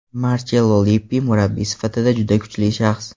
Marchello Lippi murabbiy sifatida juda kuchli shaxs.